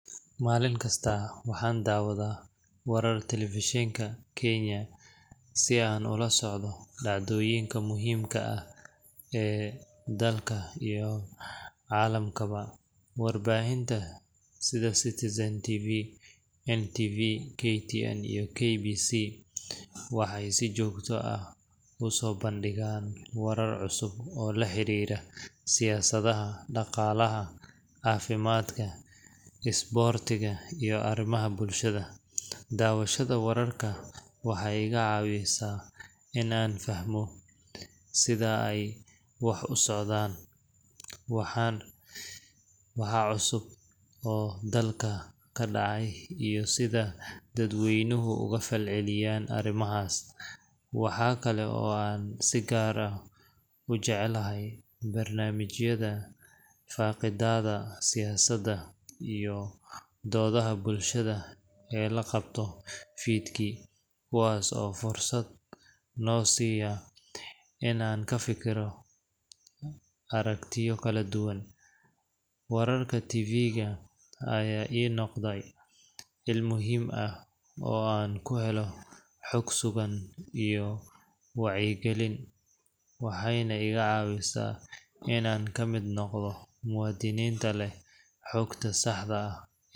Maalin kasta, waxaan daawadaa wararka telefishinka Kenya si aan ula socdo dhacdooyinka muhiimka ah ee dalka iyo caalamkaba. Warbaahinta sida Citizen TV, NTV, KTN, iyo KBC waxay si joogto ah u soo bandhigaan warar cusub oo la xiriira siyaasadda, dhaqaalaha, caafimaadka, isboortiga, iyo arrimaha bulshada. Daawashada wararka waxay iga caawisaa in aan fahmo sida ay wax u socdaan, waxa cusub oo dalka ka dhacaya, iyo sida dadweynuhu uga falcelinayaan arrimahaas. Waxa kale oo aan si gaar ah u jeclahay barnaamijyada faaqidaadda siyaasadda iyo doodaha bulshada ee la qabto fiidkii, kuwaas oo fursad noo siiya in aan ka fikiro aragtiyo kala duwan. Wararka TV ga ayaa ii noqday il muhiim ah oo aan ku helo xog sugan iyo wacyigelin, waxayna iga caawisaa in aan ka mid noqdo muwaadiniinta leh xogta saxda ah.